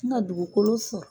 N ka dugukolo sɔrɔ.